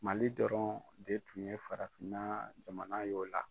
Mali dɔrɔn de tun ye farafinna jamana ye o la.